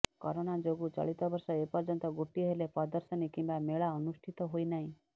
corona ଯୋଗୁଁ ଚଳିତବର୍ଷ ଏପର୍ଯ୍ୟନ୍ତ ଗୋଟିଏ ହେଲେ ପ୍ରଦର୍ଶନୀ କିମ୍ବା ମେଳା ଅନୁଷ୍ଠିତ ହୋଇ ନାହିଁ